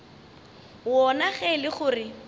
wona ge e le gore